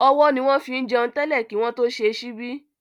Ọwọ́ ni wọ́n fín jẹun tẹ́lẹ̀ kí wọ́n tó ṣe ṣíbí